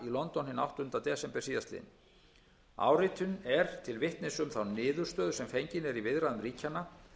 hinn áttundi desember síðastliðnum áritunin er til vitnis um þá niðurstöðu sem fengin er í viðræðum ríkjanna